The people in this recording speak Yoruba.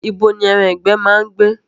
Ibo ni ẹran ìgbẹ́ máa ń gbé?